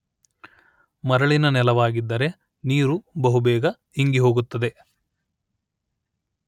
ಮರಳಿನ ನೆಲವಾಗಿದ್ದರೆ ನೀರು ಬಹುಬೇಗ ಇಂಗಿಹೋಗುತ್ತದೆ